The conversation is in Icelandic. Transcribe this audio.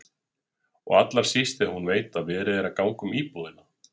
Og allra síst þegar hún veit að verið er að ganga um íbúðina.